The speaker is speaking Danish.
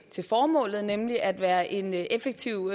formålet nemlig at være en effektiv